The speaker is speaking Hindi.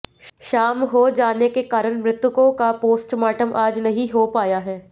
शाम हो जाने के कारण मृतकों का पोस्टमार्टम आज नहीं हो पाया है